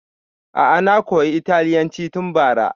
A'a na koya italyanci tun bara